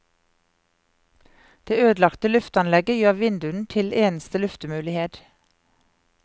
Det ødelagte lufteanlegget gjør vinduene til eneste luftemulighet.